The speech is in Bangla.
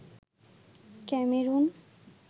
ক্যামেরুন